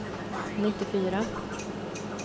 nittiofyra